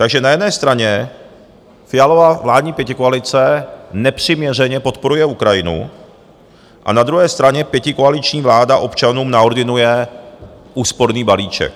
Takže na jedné straně Fialova vládní pětikoalice nepřiměřeně podporuje Ukrajinu a na druhé straně pětikoaliční vláda občanům naordinuje úsporný balíček.